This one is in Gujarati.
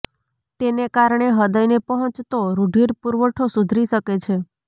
તેને કારણે હૃદયને પહોંચતો રૂધિર પુરવઠો સુધરી શકે છે